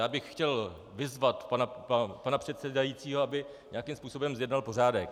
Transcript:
Já bych chtěl vyzvat pana předsedajícího, aby nějakým způsobem zjednal pořádek.